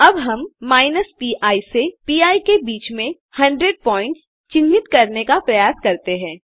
अब हम minus P से पी के बीच में 100 पॉइंट्स चिन्हित करने का प्रयास करते हैं